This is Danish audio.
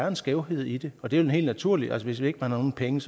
en skævhed i det og det er jo helt naturligt hvis ikke man har nogen penge